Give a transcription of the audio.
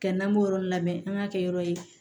Kɛ n'an b'o yɔrɔ labɛn an k'a kɛ yɔrɔ ye